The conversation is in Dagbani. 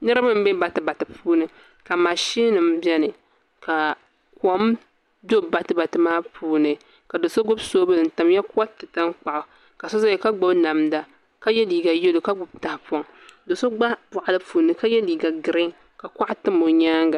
Niraba n bɛ batibati puuni ka mashin nim biɛni ka kom do batibati maa puuni ka do so gbubi soobuli n tamya koriti tankpaɣu ka so ʒɛya ka gbubi namda ka yɛ liiga yɛlo ka gbubi tahapoŋ ka so gba boɣali puuni ka yɛ liiga giriin ka kuɣa tam o nyaanga